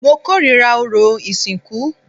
Mo kórìíra orò ìsìnkú